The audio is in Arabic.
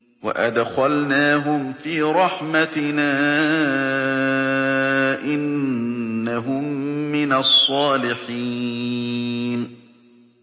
وَأَدْخَلْنَاهُمْ فِي رَحْمَتِنَا ۖ إِنَّهُم مِّنَ الصَّالِحِينَ